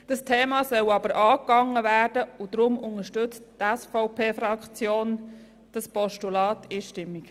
Das Thema soll aber angegangen werden, und deshalb unterstützt die SVP-Fraktion dieses Postulat einstimmig.